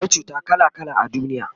akwai cuta kala kala a duniya